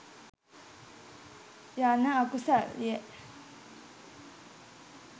යන අකුසල්ය.